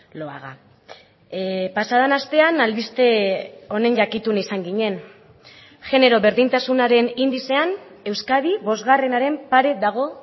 lo haga pasa den astean albiste honen jakitun izan ginen genero berdintasunaren indizean euskadi bosgarrenaren pare dago